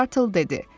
Mok Tartle dedi: